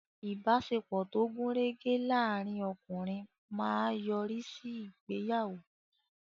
Ìbáṣepọ̀ tó gùn rẹ́gẹ́ láàrín ọkùnrin máa yọrí sí ìgbéyàwó.